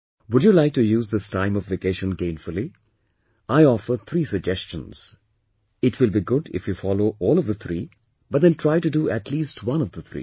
Would you like to use this time of vacation gainfully, I offer three suggestions, it will be good if you follow all of the three but then try to do atleast one of the three